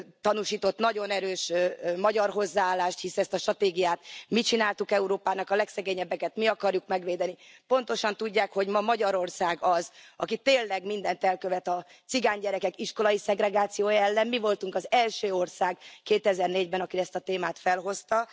tanúsított nagyon erős magyar hozzáállást hisz ezt a stratégiát mi csináltuk Európának, a legszegényebbeket mi akarjuk megvédeni pontosan tudják, hogy ma Magyarország az, aki tényleg mindent elkövet a cigánygyerekek iskolai szegregációja ellen. Mi voltunk az első ország 2004 ben, aki ezt a témát felhozta.